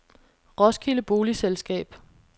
Roskilde Boligselskab